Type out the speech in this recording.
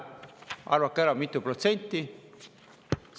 Arvake ära, mitu protsenti!